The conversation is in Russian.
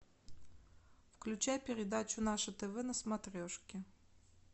включай передачу наше тв на смотрешке